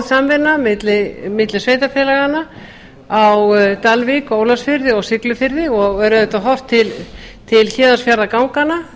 samvinna milli sveitarfélaganna á dalvík og ólafsfirði og siglufirði og er auðvitað horft til héðinsfjarðarganganna